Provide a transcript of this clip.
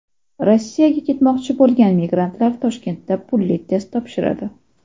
Rossiyaga ketmoqchi bo‘lgan migrantlar Toshkentda pulli test topshiradi .